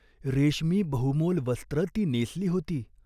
रेशमी बहुमोल वस्त्र ती नेसली होती.